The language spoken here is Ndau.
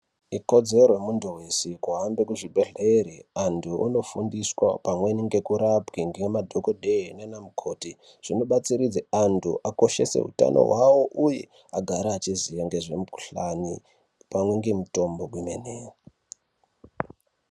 Ikodzero yemunhu weshe kuhambe kuzvi bhedhlere, anthu ondo fundiswa pamweni nekurapwa, ngema dhokodheya nanamukoti. Zvinobatsiridza kuti anthu akoshese utano hwawo uye agare achiziva ngezvemukhihlani pamwe nemitombo kwemene.